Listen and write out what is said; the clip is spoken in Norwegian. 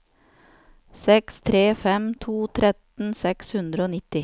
seks tre fem to tretten seks hundre og nitti